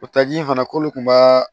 O taji in fana k'olu kun b'a